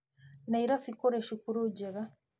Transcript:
Nairobi kũrĩ cukuru njega